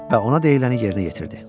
Və ona deyiləni yerinə yetirdi.